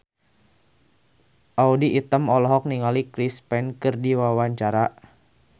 Audy Item olohok ningali Chris Pane keur diwawancara